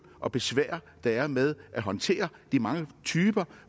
og besvær der er med at håndtere de mange typer